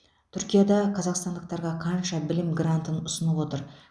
түркияда қазақстандықтарға қанша білім грантын ұсынып отыр